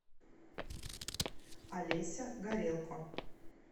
олеся горелко